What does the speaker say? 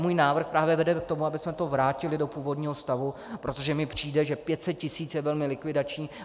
Můj návrh právě vede k tomu, abychom to vrátili do původního stavu, protože mi přijde, že 500 tisíc je velmi likvidační.